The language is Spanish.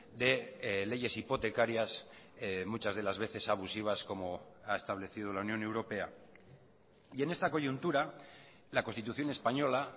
de leyes hipotecarias muchas de las veces abusivas como ha establecido la unión europea y en esta coyuntura la constitución española